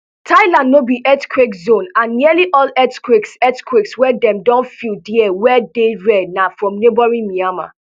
thailand no be earthquake zone and nearly all earthquakes earthquakes wey dem don feel dia wey dey rare na from neighbouring myanmar